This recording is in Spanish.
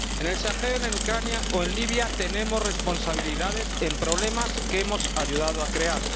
En el Sahel, en Ucrania o en Libia tenemos responsabilidades en problemas que hemos ayudado a crear.